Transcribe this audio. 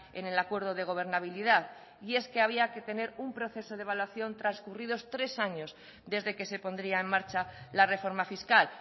en el acuerdo de gobernabilidad y es que había que tener un proceso de evaluación transcurridos tres años desde que se pondría en marcha la reforma fiscal